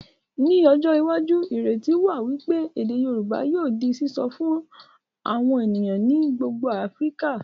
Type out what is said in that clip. Ní ọjọ́ iwájú, ìrètí wà wípé èdè Yorùbá yóò di sìsọ fún àwọn ènìyàn ní gbogbo Áfíríkà